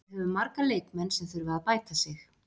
Við höfum marga leikmenn sem þurfa að bæta sig.